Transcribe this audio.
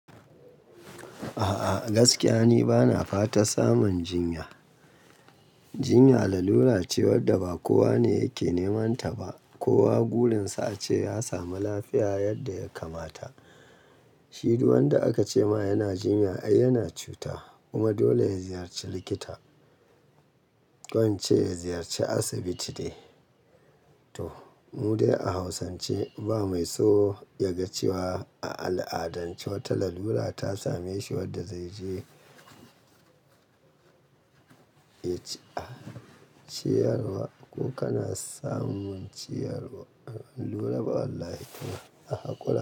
A'a gaskiya ni bana fatar samun jinya. Jinya lalura ce wadda ba kowa ne yake nemanta ba. Kowa gurinsa ace ya samu lafiya yadda ya kamata. Shi duk wanda aka ce ma yana jinya ai yana cuta. Kuma dole ya ziyarci likita, ƙo in ce ya ziyarci asibiti dai. To mu dai a Hausance ba mai so ya ga cewa a al'adance wata lalura ta same shi wadda zai je ciyarwa. Ko kana samun ciyarwar lura ba wallahi a hakura.